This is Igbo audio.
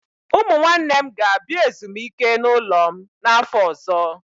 Ụmụ nwanne m ga-abịa ezumike n'ụlọ m n'afọ ọzọ.